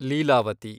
Leelavathi